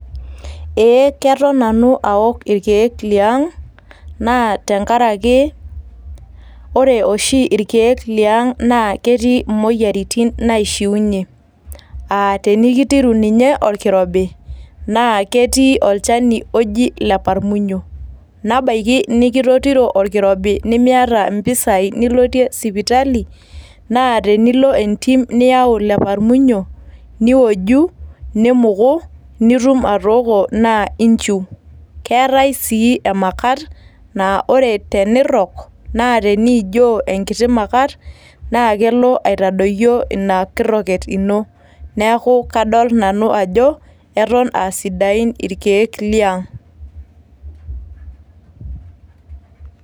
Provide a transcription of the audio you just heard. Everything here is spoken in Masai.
Ee keton Nanu aok inkiek liang' naa tenkaraki ore oshi irkiek liang' naa ketii imoyiaritin naishiunyie, aa tenikitiru ninye orkirobi naa ketii olchani oji leparmunyio nebaki nikitotiro orkirobi nemiata impisai nilotie sipitali naa tenilo entim niyau leparmunyio niwoju, nimuku nitum atooko naa enchiu. Keetae sii emakat naa tenirrok naa teniinio enkiti makat naa kelo aitodoyio ena kirroket ino, neaku kadol Nanu ajo keton aa sidain irkiek liang'.